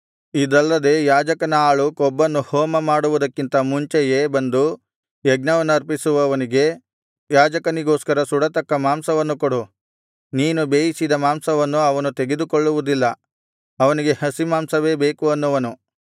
ಇದಲ್ಲದೆ ಯಾಜಕನ ಆಳು ಕೊಬ್ಬನ್ನು ಹೋಮಮಾಡುವುದಕ್ಕಿಂತ ಮುಂಚೆಯೇ ಬಂದು ಯಜ್ಞವನ್ನರ್ಪಿಸುವವನಿಗೆ ಯಾಜಕನಿಗೋಸ್ಕರ ಸುಡತಕ್ಕ ಮಾಂಸವನ್ನು ಕೊಡು ನೀನು ಬೇಯಿಸಿದ ಮಾಂಸವನ್ನು ಅವನು ತೆಗೆದುಕೊಳ್ಳುವುದಿಲ್ಲ ಅವನಿಗೆ ಹಸಿಮಾಂಸವೇ ಬೇಕು ಅನ್ನುವನು